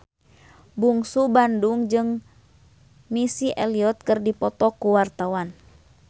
Bungsu Bandung jeung Missy Elliott keur dipoto ku wartawan